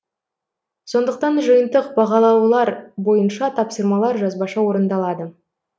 сондықтан жиынтық бағалаулар бойынша тапсырмалар жазбаша орындалады